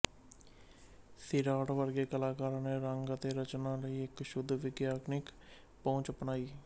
ਸੀਰਾਟ ਵਰਗੇ ਕਲਾਕਾਰਾਂ ਨੇ ਰੰਗ ਅਤੇ ਰਚਨਾ ਲਈ ਇੱਕ ਸ਼ੁੱਧ ਵਿਗਿਆਨਿਕ ਪਹੁੰਚ ਅਪਣਾਈ